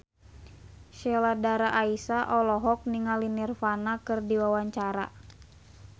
Sheila Dara Aisha olohok ningali Nirvana keur diwawancara